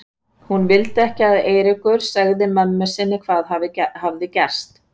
Hún vildi ekki að Eiríkur segði mömmu sinni hvað hafði gerst.